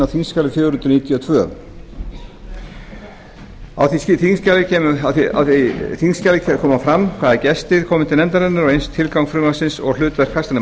þingskjali fjögur hundruð níutíu og tvö á því þingskjali kemur fram hvaða gestir komu til nefndarinnar og eins tilgangur frumvarpsins og hlutverk